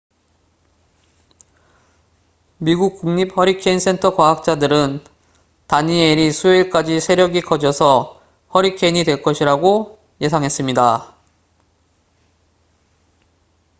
미국 국립 허리케인 센터 과학자들은 다니엘이 수요일까지 세력이 커져서 허리케인이 될 것이라고 예상했습니다